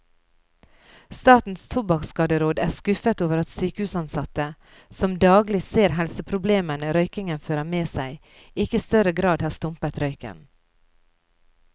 Statens tobakkskaderåd er skuffet over at sykehusansatte, som daglig ser helseproblemene røykingen fører med seg, ikke i større grad har stumpet røyken.